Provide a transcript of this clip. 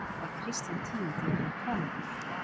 Þá var Kristján tíundi orðinn konungur.